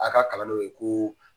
A ka kalan n'o ye ko